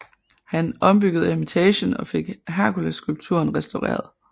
Han ombyggede eremitagen og fik Herkulesskulpturen restaureret